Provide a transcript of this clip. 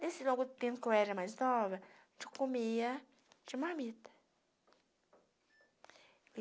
Nesse longo tempo que eu era mais nova, a gente comia de marmita.